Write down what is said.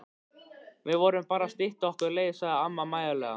Við vorum bara að stytta okkur leið sagði amma mæðulega.